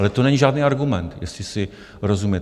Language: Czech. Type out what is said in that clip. Ale to není žádný argument, jestli si rozumíme.